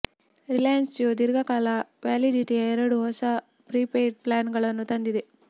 ರಿಲಯನ್ಸ್ ಜಿಯೋ ಧೀರ್ಘಕಾಲ ವ್ಯಾಲಿಡಿಟಿಯ ಎರಡು ಹೊಸ ಪ್ರಿಪೇಯ್ಡ್ ಪ್ಲಾನ್ಗಳನ್ನು ತಂದಿದೆ